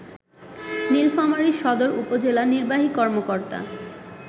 নীলফামারী সদর উপজেলা নির্বাহী কর্মকর্তা